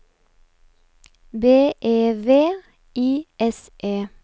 B E V I S E